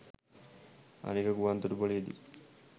අනික ගුවන් තොටුපලේ දී